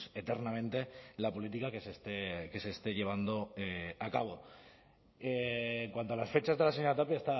eternamente la política que se esté llevando a cabo en cuanto a las fechas de la señora tapia